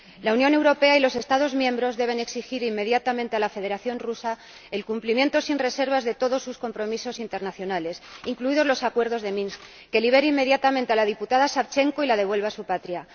La Unión Europea y los Estados miembros deben exigir inmediatamente a la Federación de Rusia el cumplimiento sin reservas de todos sus compromisos internacionales, incluidos los Acuerdos de Minsk, que libere inmediatamente a la diputada Savchenko y que la devuelva a su patria.